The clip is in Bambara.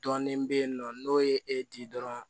Dɔɔnin be yen nɔ n'o ye e di dɔrɔn